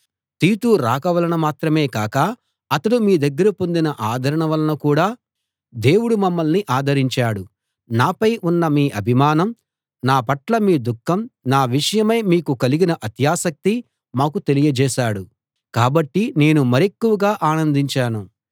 తీతు రాక వలన మాత్రమే కాక అతడు మీ దగ్గర పొందిన ఆదరణ వలన కూడా దేవుడు మమ్మల్ని ఆదరించాడు నాపై ఉన్న మీ అభిమానం నా పట్ల మీ దుఃఖం నా విషయమై మీకు కలిగిన అత్యాసక్తి మాకు తెలియజేశాడు కాబట్టి నేను మరెక్కువగా ఆనందించాను